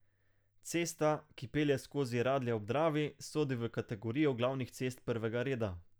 Cesta, ki pelje skozi Radlje ob Dravi, sodi v kategorijo glavnih cest prvega reda.